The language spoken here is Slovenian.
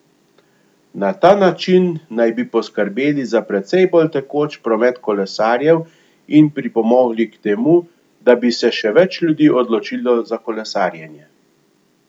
Na ta način naj bi poskrbeli za precej bolj tekoč promet kolesarjev in pripomogli k temu, da bi se še več ljudi odločilo za kolesarjenje.